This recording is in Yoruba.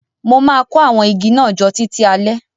Mo má kó àwon igi náà jo títí alẹ́